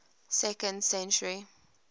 second century